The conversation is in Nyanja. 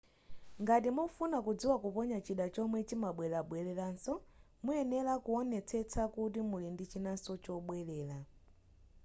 ngati mukufuna kudziwa kuponya chida chomwe chimabweleranso muyenera kuwonetsetsa kuti muli ndi chinanso chobwelera